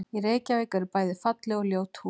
Í Reykjavík eru bæði falleg og ljót hús.